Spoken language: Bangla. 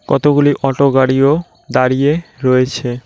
কতগুলি অটো গাড়িও দাঁড়িয়ে রয়েছে।